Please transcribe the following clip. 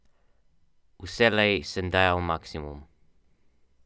Z desne je predložek pred vrata poslal Pedro.